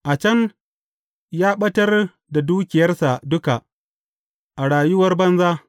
A can, ya ɓatar da dukiyarsa duka a rayuwar banza.